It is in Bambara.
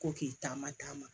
Ko k'i taama taama